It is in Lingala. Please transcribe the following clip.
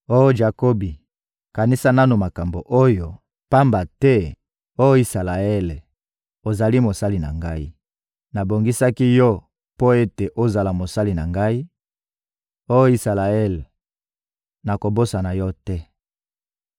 «Oh Jakobi, kanisa nanu makambo oyo, pamba te, oh Isalaele, ozali mosali na Ngai. Nabongisaki yo mpo ete ozala mosali na Ngai; oh Isalaele, nakobosana yo te.